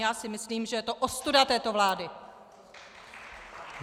Já si myslím, že je to ostuda této vlády!